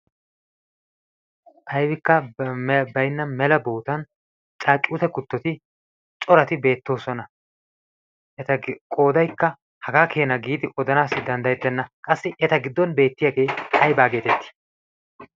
aibikka bainna mela bootan caacuute kuttoti corati beettoosona eta qoodaikka hagaa keena giidi odanaassi danddayettenna qassi eta giddon beettiyaagee aibaa geetettii?